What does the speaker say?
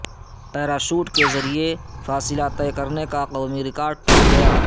parachute کےذریعے فاصلہ طے کرنےکا قومی ریکارڈ ٹوٹ گیا